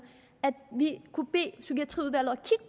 vi kunne bede psykiatriudvalget